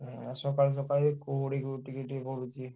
ହଁ ସକାଳୁ ସକାଳୁ କୁହୁଡି ବି ଟିକେ ଟିକେ ପଡୁଛି।